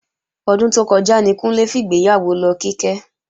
Ọdún tó kọjá ní Kúnlé fìgbéyàwó lọ Kíkẹ́